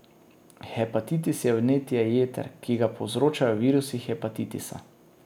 Hepatitis je vnetje jeter, ki ga povzročajo virusi hepatitisa.